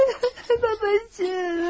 Babacığım!